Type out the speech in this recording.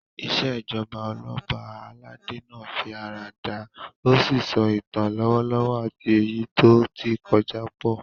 Ìṣèjoba Ọlọ́ba aládé náà fi ara dà, ó sì so ìtàn lọ́wọ́lọ́wọ́ àti èyí tó ti kọjá pọ̀